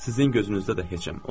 Sizin gözünüzdə də heçəm.